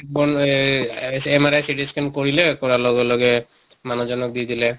MRI CT scan কৰিলে, কৰাৰ লগে লগে মানিহ জনক দি দিলে।